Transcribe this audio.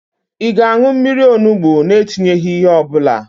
Ị ga-an̄ụ mmiri onugbo na-etinyeghị ihe ọbụla?